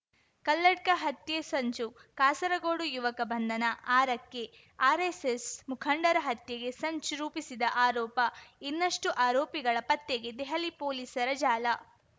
ಕಲ್ಲಡ್ಕ ಹತ್ಯೆ ಸಂಚು ಕಾಸರಗೋಡು ಯುವಕ ಬಂಧನ ಆರಕ್ಕೆ ಆರೆಸ್ಸೆಸ್‌ ಮುಖಂಡರ ಹತ್ಯೆಗೆ ಸಂಚು ರೂಪಿಸಿದ ಆರೋಪ ಇನ್ನಷ್ಟುಆರೋಪಿಗಳ ಪತ್ತೆಗೆ ದೆಹಲಿ ಪೊಲೀಸರ ಜಾಲ